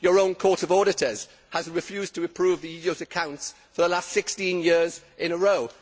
Your own Court of Auditors has refused to approve the EU's accounts for the last 16 years in a row.